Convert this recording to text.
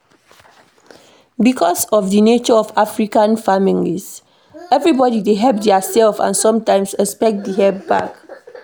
Because of di nature of African families, everybody dey help their self and sometimes expect di help back